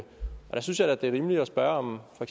der synes jeg da det er rimeligt at spørge om for